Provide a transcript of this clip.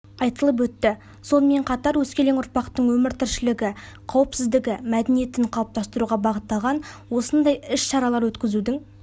айтылып өтті сонымен қатар өскелең ұрпақтың өмір тіршілігі қауіпсіздігі мәдениетін қалыптастыруға бағытталған осындай іс-шаралар өткізудің